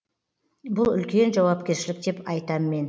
бұл үлкен жауапкершілік деп айтам мен